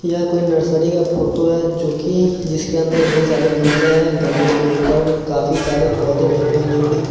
यह कोई नर्सरी का फोटो है जोकि जिसके अंदर बहुत सारे गमले हैं गमले के ऊपर काफी सारे पौधे रोपे हैं जोकि--